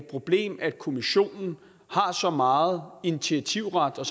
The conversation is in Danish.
problem at kommissionen har så meget initiativret og